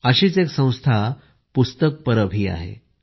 अशीच एक संस्था पुस्तक परब आहे